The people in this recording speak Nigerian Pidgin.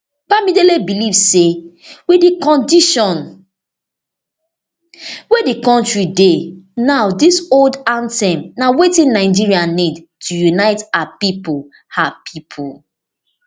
bamidele believe say wit di condition wey di kontri dey now dis old anthem na wetin nigeria need to unite her pipo her pipo